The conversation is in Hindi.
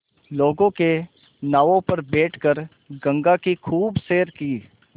लोगों के नावों पर बैठ कर गंगा की खूब सैर की